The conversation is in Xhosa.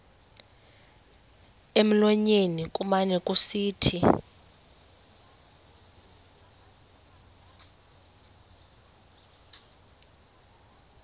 emlonyeni kumane kusithi